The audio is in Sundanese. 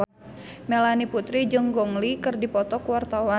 Melanie Putri jeung Gong Li keur dipoto ku wartawan